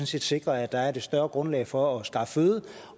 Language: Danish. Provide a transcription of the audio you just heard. set sikre at der er et større grundlag for at skaffe føde